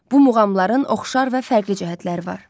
Bu muğamların oxşar və fərqli cəhətləri var.